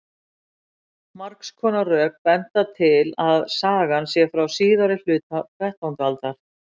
Margs konar rök benda til að sagan sé frá síðari hluta þrettándu aldar.